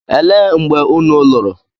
Elee mgbe unu lụrụ?